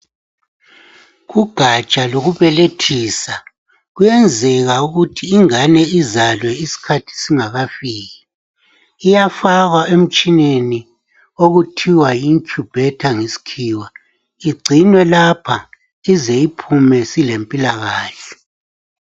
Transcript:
Kugatsha lokubelethisa kuyenzeka ukuthi ingane izalwe isikhathi singakafiki iyafakwa emtshineni okuthiw ayi incubator ngesikhiwa igcinwa lapha size uphume silempilakahle.